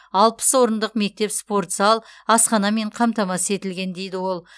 алпыс орындық мектеп спорт зал асханамен қамтамасыз етілген дейді ол